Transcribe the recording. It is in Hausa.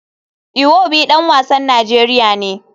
Iwobi dan wasan Najeriya ne.